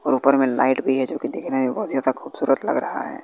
और ऊपर में लाइट भी है जो कि देखने में बहुत ज्यादा खूबसूरत लग रहा है।